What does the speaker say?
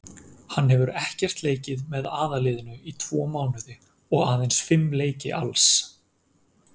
Hann hefur ekkert leikið með aðalliðinu í tvo mánuði og aðeins fimm leiki alls.